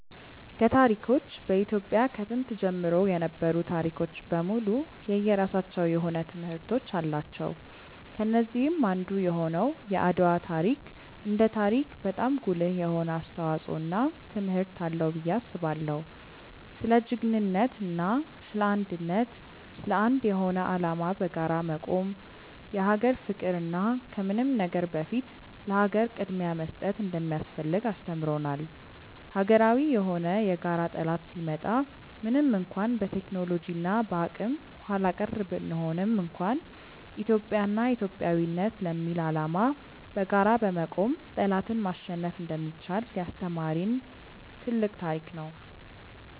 ከታሪኮች በኢትዮጵያ ከጥንት ጀምሮ የነበሩ ታሪኮች በሙሉ የየራሳቸው የሆነ ትምህርቶች አላቸው። ከነዚህም አንዱ የሆነው የአድዋ ታሪክ እንደ ታሪክ በጣም ጉልህ የሆነ አስተዋጽዖ እና ትምህርት አለው ብዬ አስባለው። ስለ ጅግንነት እና ስለ አንድነት፣ ለአንድ የሆነ አላማ በጋራ መቆም፣ የሀገር ፍቅር እና ከምንም ነገር በፊት ለሀገር ቅድምያ መስጠት እንደሚያስፈልግ አስተምሮናል። ሀገራዊ የሆነ የጋራ ጠላት ሲመጣ ምንም እንኳን በቴክኖሎጂ እና በአቅም ኃላቀር ብንሆንም እንኳን ኢትዮጵያ እና ኢትዮጵያዊነት ለሚል አላማ በጋራ በመቆም ጠላትን ማሸነፍ እንደሚቻል ያስተማሪን ትልቅ ታሪክ ነው።